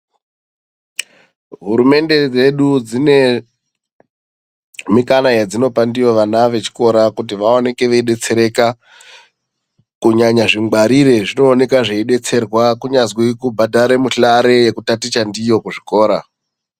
Hurumende dzedu dzine mikana yadzinopa ndiyo vana vechikora kuti vaoneke veidetsereka. Kunyanya zvingwarire zvinooneka zveidetserwa kunyazwi kubhadhare muhlare yekutaticha ndiyo kuzvikora.